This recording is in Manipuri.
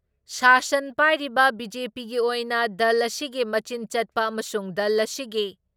ꯁꯥꯁꯟ ꯄꯥꯏꯔꯤꯕ ꯕꯤ.ꯖꯦ.ꯄꯤꯒꯤ ꯑꯣꯏꯅ ꯗꯜ ꯑꯁꯤꯒꯤ ꯃꯆꯤꯟ ꯆꯠꯄ ꯑꯃꯁꯨꯡ ꯗꯜ ꯑꯁꯤꯒꯤ